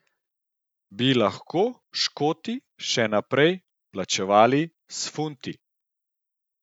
Bi lahko Škoti še naprej plačevali s funti?